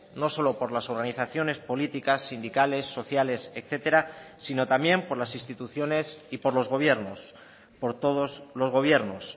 no solo por las organizaciones políticas sindicales sociales etcétera sino también por las instituciones y por los gobiernos por todos los gobiernos